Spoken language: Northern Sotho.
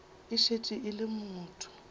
e šetše e le motho